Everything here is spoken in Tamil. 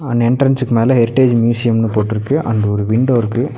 அண் எண்ட்ரன்ஸ்க்கு மேல ஹெரிடேஜ் மியூசியம்னு போட்ருக்கு அண்டு ஒரு விண்டோ இருக்கு.